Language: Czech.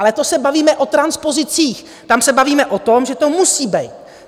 Ale to se bavíme o transpozicích, tam se bavíme o tom, že to musí být.